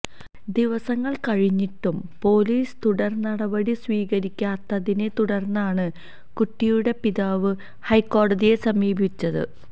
ദിവസങ്ങൾ കഴിഞ്ഞിട്ടും പൊലീസ് തുടർനടപടി സ്വീകരിക്കാത്തതിനെ തുടർന്നാണ് കുട്ടിയുടെ പിതാവ് ഹൈക്കോടതിയെ സമീപിച്ചത്